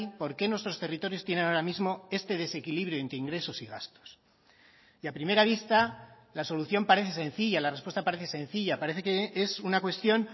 por qué nuestros territorios tienen ahora mismo este desequilibrio entre ingresos y gastos y a primera vista la solución parece sencilla la respuesta parece sencilla parece que es una cuestión